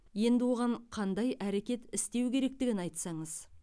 енді оған қандай әрекет істеу керектігін айтсаңыз